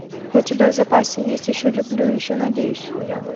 у тебя в запасе есть еще люблю еще надеюсь